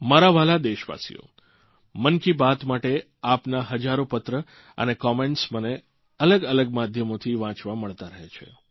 મારા વ્હાલા દેશવાસીઓ મન કી બાત માટે આપના હજારો પત્રો અને કમેન્ટસ મને અલગઅલગ માધ્યમોથી વાંચવા મળતા રહે છે